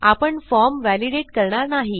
आपण form validate करणार नाही